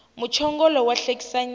muchongolo wa hlekisa nyana